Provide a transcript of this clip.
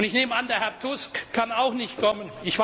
Ich nehme an, Herr Tusk kann auch nicht kommen.